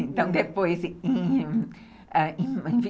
Então, depois, em ãh em